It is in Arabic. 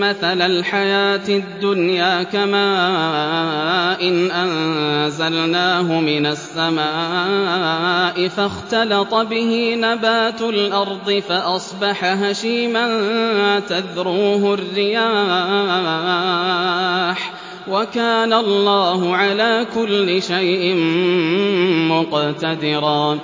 مَّثَلَ الْحَيَاةِ الدُّنْيَا كَمَاءٍ أَنزَلْنَاهُ مِنَ السَّمَاءِ فَاخْتَلَطَ بِهِ نَبَاتُ الْأَرْضِ فَأَصْبَحَ هَشِيمًا تَذْرُوهُ الرِّيَاحُ ۗ وَكَانَ اللَّهُ عَلَىٰ كُلِّ شَيْءٍ مُّقْتَدِرًا